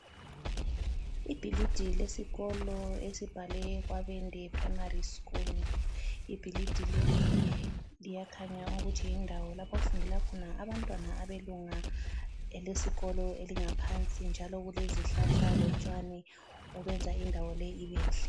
Ibhilidi lesikolo esibhalwe Kabwende Primary School. Ibhilidi leli liyakhanya ukuthi yindawo lapho okufundela khona abantwana abelunga elesikolo elingaphansi njalo kulezihlahla lotshani obenza indawo leyi ibenhle.